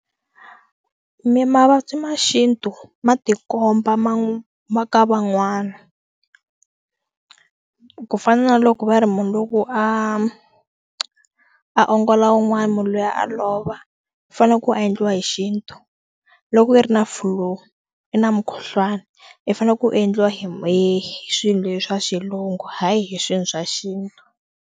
Mi mavabyi ma xintu ma tikomba ma ka van'wana ku fana na loko va ri munhu loko a a ongola un'wana munhu loyi a lova u fanele ku endliwa hi xintu loko i ri na flu i na mukhuhlwani i fanele ku endliwa hi swilo swa Xilungu hayi hi swilo swa xintu.